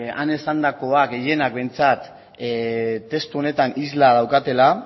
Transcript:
han esandakoa gehienak behintzat testu honetan isla daukatela